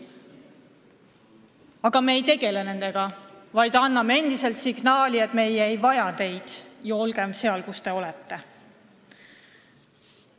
Aga me ei tegele nendega, vaid anname endiselt signaali, et meie ei vaja teid ja olge seal, kus te olete.